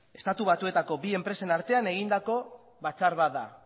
estatu batuetako bi enpresen artean egindako batzar bat da